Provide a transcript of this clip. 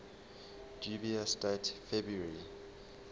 dubious date february